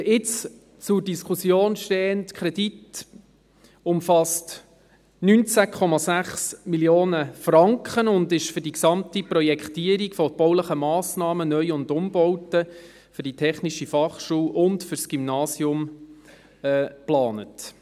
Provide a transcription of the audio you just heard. Der jetzt zur Diskussion stehende Kredit umfasst 19,6 Mio. Franken und ist für die gesamte Projektierung von baulichen Massnahmen, Neu- und Umbauten für die TF Bern und für das Gymnasium geplant.